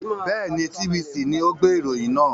Bẹ́ẹ̀ni, TVC ni ó gbé ìròyìn náà.